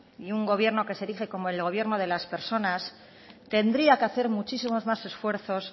y un gobierno que se erige como el gobierno de las personas tendría que hacer muchísimos más esfuerzos